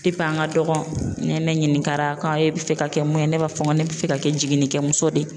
an ka dɔgɔ nɛ ne ɲininkara e bɛ fɛ ka kɛ mun ye? Ne b'a fɔ n ko ne bɛ fɛ ka kɛ jiginikɛ muso de ye.